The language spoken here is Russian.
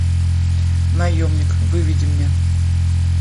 наемник выведи мне